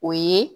O ye